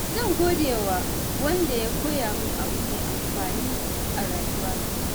Zan gode wa wanda ya koya min abu mai amfani a rayuwata.